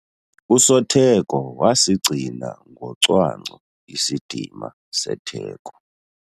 Usotheko wasigcina ngocwangco isidima setheko.